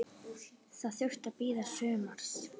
Það þurfti að bíða sumars.